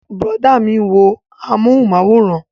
Brọ̀dá mi ń wo amúhùnmáwòrán